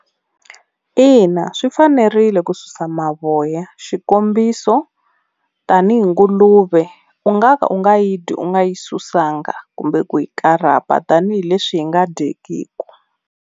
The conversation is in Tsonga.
Ina swi fanerile ku susa mavoya xikombiso tani hi nguluve u nga ka u nga yi dyi u nga yi susanga kumbe kumbe ku yi karapa tanihileswi yi nga dyekiki.